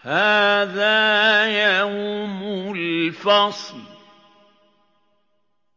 هَٰذَا يَوْمُ الْفَصْلِ ۖ